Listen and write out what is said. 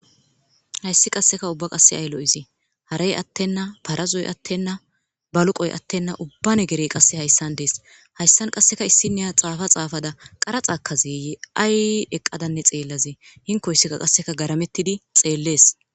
Hayssi qase uba ayi lo'ize harey atena parazoy atena baluqoy atena ubba negery qase hayisan des hayissan qaseekka issiniya xafa xaafada qaraxa ekaze ye ayi eqada xeelaze hinloyisikka qase garametidi xeless